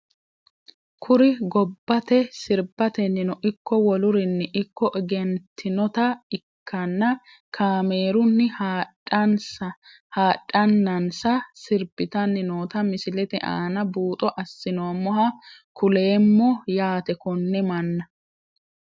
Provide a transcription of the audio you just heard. Kuri gobatte sirbatenino iko wolurinino ikko egentinota ikanna kaameruni haadhanansa sirbitani noota misilete aana buuxo asinoomoha kuleemo yaate kone mana.